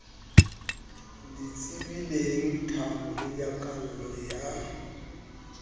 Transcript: le tsebilengthabo le nyakallo ya